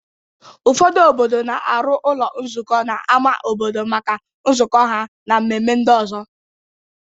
Ụfọdụ obodo na-arụ ụlọ nzukọ n'ama obodo maka nzukọ ha na mmemme ndị ọzọ.